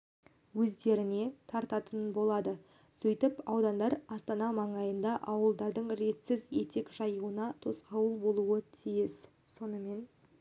өздеріне тартатын болады сөйтіп аудандар астана маңайында ауылдардың ретсіз етек жаюына тосқауыл болуы тиіс сонымен